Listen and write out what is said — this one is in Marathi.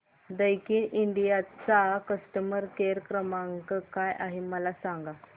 दैकिन इंडिया चा कस्टमर केअर क्रमांक काय आहे मला सांगा